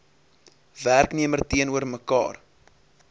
werknemer teenoor mekaar